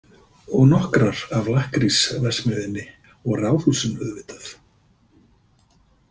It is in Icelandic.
Og nokkrar af lakkrísverksmiðjunni og ráðhúsinu auðvitað.